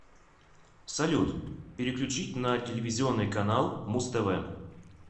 салют переключить на телевизионный канал муз тв